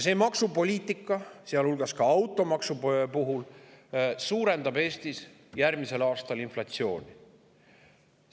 See maksupoliitika, sealhulgas automaksu puhul, suurendab Eestis järgmisel aastal inflatsiooni.